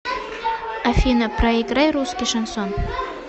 афина проиграй русский шансон